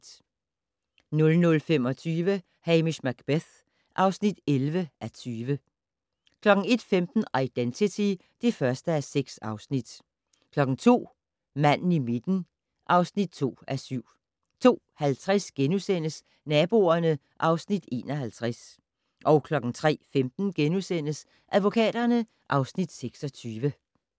00:25: Hamish Macbeth (11:20) 01:15: Identity (1:6) 02:00: Manden i midten (2:7) 02:50: Naboerne (Afs. 51)* 03:15: Advokaterne (Afs. 26)*